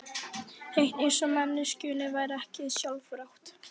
Hreint eins og manneskjunni væri ekki sjálfrátt.